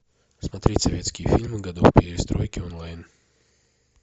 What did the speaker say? смотреть советские фильмы годов перестройки онлайн